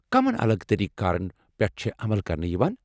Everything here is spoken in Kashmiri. کمن الگ طٔریٖقہٕ کارن پٮ۪ٹھ چھےٚ عمل کرنہٕ یوان؟